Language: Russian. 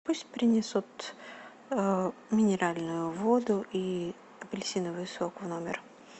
пусть принесут минеральную воду и апельсиновый сок в номер